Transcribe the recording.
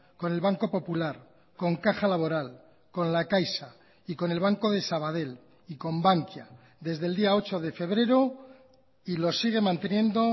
con el banco popular con caja laboral con la caixa y con el banco de sabadell y con bankia desde el día ocho de febrero y lo sigue manteniendo